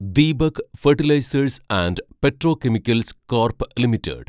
Deepak fertilisers and petrochemicals corp limited